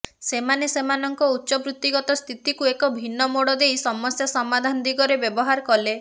ସେମାନେ ସେମାନଙ୍କ ଉଚ୍ଚବୃତ୍ତିଗତ ସ୍ଥିତିକୁ ଏକ ଭିନ୍ନ ମୋଡ ଦେଇ ସମସ୍ୟା ସମାଧାନ ଦିଗରେ ବ୍ୟବହାର କଲେ